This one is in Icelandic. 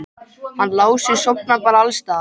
Hann Lási sofnar bara alls staðar.